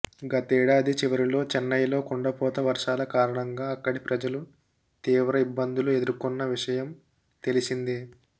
గతేడాది చివరిలో చెన్నైలో కుండపోత వర్షాల కారణంగా అక్కడి ప్రజలు తీవ్ర ఇబ్బందులు ఎదుర్కొన్న విషయ్యం తెలిసిందే